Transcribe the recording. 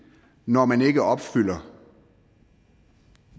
når man ikke opfylder